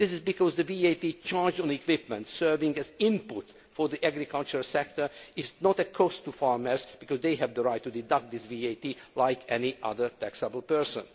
This is because the VAT charged on equipment serving as input for the agricultural sector is not a cost to farmers because they have the right to deduct this VAT, like any other taxable person.